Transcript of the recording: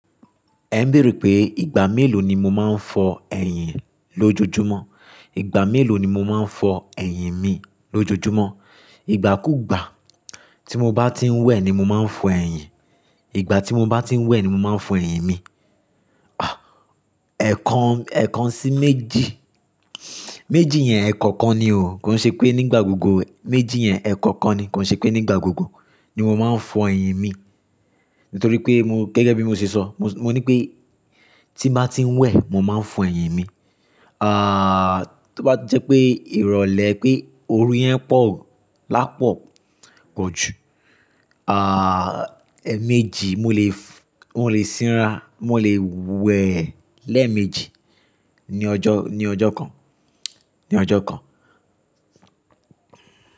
Ẹ ń béèrè pé ìgbà mélòó ni mo máa ń fọ ẹyin lójoojúmọ́? Ìgbà mélòó ni mo máa ń fọ ẹyin mi lójoojúmọ́? Ìgbà kú ìgbà, tí mo bá ti ń wẹ̀ ni mo máa ń fọ ẹyin. Ìgbà tí mo bá ti ń wẹ̀ ni mo máa ń fọ ẹyin mi. Ẹ̀kan, ẹ̀kan sí méjì. Méjì yẹn ẹ̀kokan ni o. Kò ṣe pé nígbà gbogbo méjì yẹn ẹ̀ẹ̀kokan ni. Kò ṣe pé nígbà gbogbo ni mo máa ń fọ ẹyin mi. Nítorí mo gẹ́gẹ́ bí mo ṣe sọ, mo ní pé tí màá ti ń wẹ̀, mo máa ń fọ ẹyin mi. Tó bá jẹ́ pé ìrọ̀lẹ́ pé oru yẹn pọ̀, lápọ̀ gan jú eméjì mo lè f-- mo lè sinra, mo lè wẹ ẹlẹ́ẹ̀ méjì ní ọjọ́, ní ọjọ́ kan, ní ọjọ́ kan.